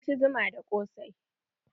Mun ci zuma da ƙosai.